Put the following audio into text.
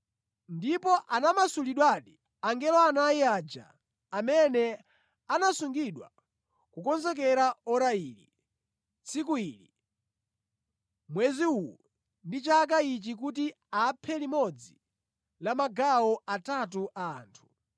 Ndipo anamasulidwadi angelo anayi aja amene anasungidwa kukonzekera ora ili, tsiku ili, mwezi uwu ndi chaka ichi kuti aphe limodzi la magawo atatu a anthu.